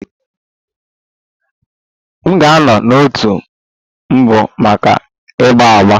M ga-anọ n'òtù mbụ maka agba agba